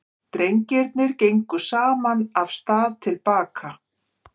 Drengirnir gengu saman af stað til baka.